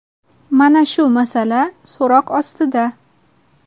Mana shu masala so‘roq ostida.